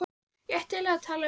Ég ætti eiginlega að tala við